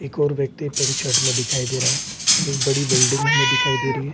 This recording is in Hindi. एक और व्यक्ति पिंक शर्ट में दिखाई दे रहा है। एक बड़ी बिल्डिंग हमें दिखाई दे रही है।